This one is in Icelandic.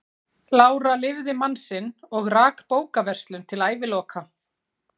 Lára lifði mann sinn og rak bókaverslun til æviloka.